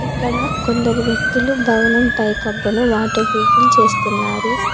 ఇక్కడ కొందరు వ్యక్తులు భావన పై కప్పును వాటర్ ప్రూఫింగ్ చేస్తున్నారు.